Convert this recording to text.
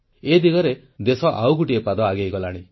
ଏ ଦିଗରେ ଦେଶ ଆଉ ଗୋଟିଏ ପାଦ ଆଗେଇଗଲାଣି